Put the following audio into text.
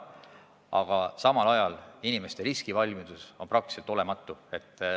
Aga samal ajal inimeste riskivalmidus on praktiliselt olematu.